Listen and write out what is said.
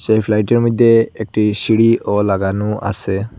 এই ফ্লাইট -এর মইধ্যে একটি সিঁড়িও লাগানো আছে।